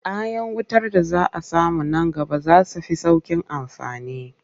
Future electrical devices will be easier to use.